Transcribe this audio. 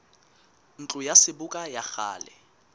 ntlo ya seboka ya kgale